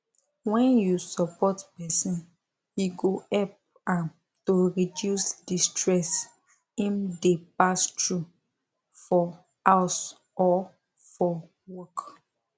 when you support person e go help am to reduce the stress im dey pass through fir house or for work